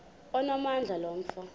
onamandla lo mfo